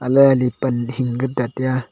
ala li pan hing ke ta taiya.